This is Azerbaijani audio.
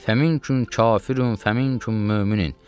Fəminküm kafirun, fəminküm möminin.